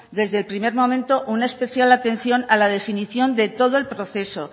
desde el primer momento una especial atención a la definición de todo el proceso